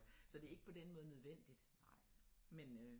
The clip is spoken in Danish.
Så det ikke på den måde nødvendigt men øh